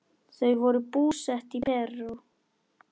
Þau voru búsett í Perú.